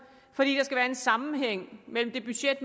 fordi der skal være en sammenhæng mellem det budget